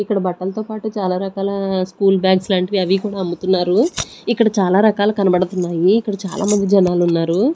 ఇక్కడ బట్టలతో పాటు చాలా రకాల స్కూల్ బ్యాగ్స్ లాంటివి అవి కూడా అమ్ముతున్నారు ఇక్కడ చాలా రకాలు కనబడుతున్నాయి ఇక్కడ చాలా మంది జనాలు ఉన్నారు.